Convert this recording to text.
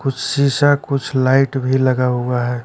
कुछ शीशा कुछ लाइट भी लगा हुआ है।